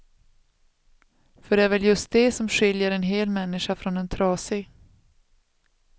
För det är väl just det som skiljer en hel människa från en trasig.